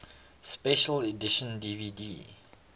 special edition dvd